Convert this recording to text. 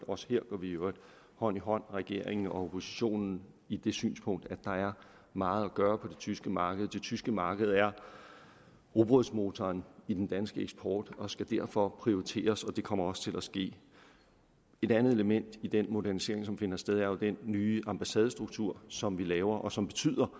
også her går vi i øvrigt hånd i hånd regeringen og oppositionen i det synspunkt at der er meget at gøre på det tyske marked det tyske marked er rugbrødsmotoren i den danske eksport og skal derfor prioriteres og det kommer også til at ske et andet element i den modernisering som finder sted er jo den nye ambassadestruktur som vi laver og som